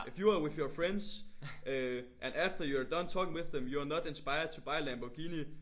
If you are with your friends øh and after you are done talking with them you are not inspired to buy a Lamborghini